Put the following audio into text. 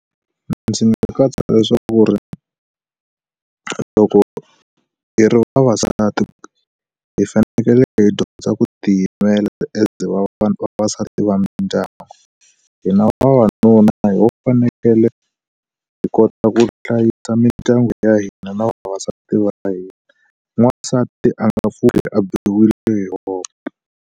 Ndzi nga katsa leswaku ri, loko hi ri vavasati hi fanekele hi dyondza ku tiyimela as vavasati va mindyangu. Hina vavanuna ho fanekele hi kota ku hlayisa mindyangu ya hina na vavasati va hina. N'wansati a nga pfuki a biwile hi voko.